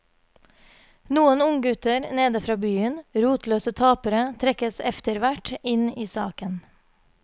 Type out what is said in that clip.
Noen unggutter nede fra byen, rotløse tapere, trekkes efterhvert inn i saken.